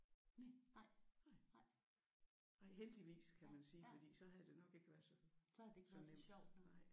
Næh nej heldigvis kan man sige fordi så havde det nok ikke været så så nemt